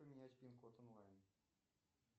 поменять пин код онлайн